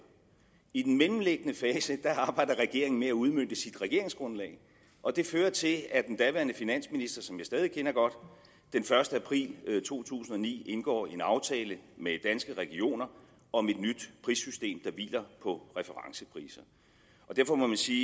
i den mellemliggende fase arbejder regeringen med at udmønte sit regeringsgrundlag og det fører til at den daværende finansminister som jeg stadig kender godt den første april to tusind og ni indgår en aftale med danske regioner om et nyt prissystem der hviler på referencepriser derfor må man sige